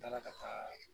N taara ka taa